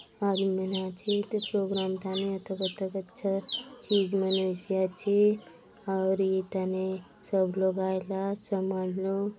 और मै इंहा थी प्रोग्राम थाने अतक - अतक अच्छा चीज मिरसी आचे आउरी ई थाने सब लोग आयला आत समाज लोग --